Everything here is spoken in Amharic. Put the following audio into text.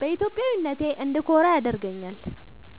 በኢትዮጵያዊነቴ እንድኮራ ያደርገኛል።